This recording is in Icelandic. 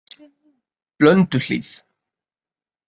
Blönduhlíð